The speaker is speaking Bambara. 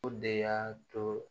O de y'a to